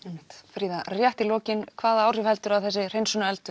fríða rétt í lokin hvaða áhrif heldurðu að þessi